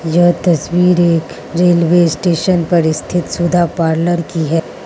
यह तस्वीर एक रेलवे स्टेशन पर स्थित सुधा पार्लर की है।